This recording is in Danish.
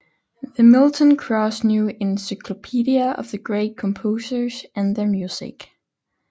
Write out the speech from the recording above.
The Milton Cross New Encyclopedia of the Great Composers and Their Music